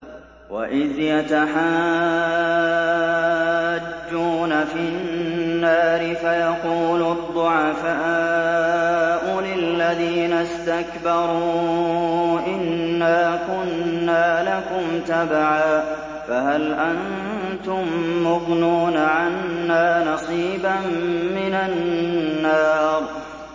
وَإِذْ يَتَحَاجُّونَ فِي النَّارِ فَيَقُولُ الضُّعَفَاءُ لِلَّذِينَ اسْتَكْبَرُوا إِنَّا كُنَّا لَكُمْ تَبَعًا فَهَلْ أَنتُم مُّغْنُونَ عَنَّا نَصِيبًا مِّنَ النَّارِ